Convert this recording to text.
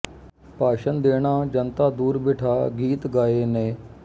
ਭਾਸ਼ਣ ਦੇਣਾ ਜਨਤਾ ਦੂਰ ਬਿਠਾ ਗੀਤ ਗਾਏ ਨੇ